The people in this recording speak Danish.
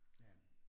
Ja